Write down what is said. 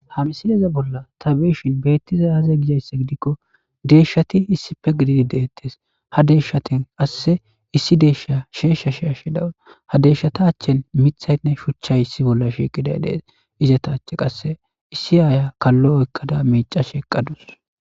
Ha missileza bollan ta be'ishin betizay aze? Gizayssa giddiko deyshati issippe giddidi de'etes.ha deyshati qase issi deyshiya sheyshi she'ashe de'awus.ha deyshata achen miththaynne shuchchay issi bolla shiqiday de'ees.izeta achen issi aya kalo oykkada miccashe dawus.